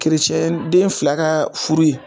Kerecɛnden fila ka furu ye.